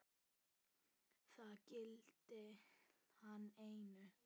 Það gilti hann einu.